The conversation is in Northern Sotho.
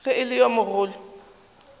ge e le yo mogolo